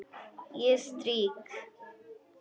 Ég strýk.